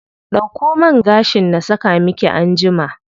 Dauko man gashin na saka miki anjima.